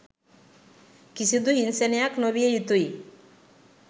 කිසිදු හිංසනයක් නොවිය යුතුයි